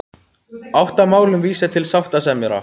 Átta málum vísað til sáttasemjara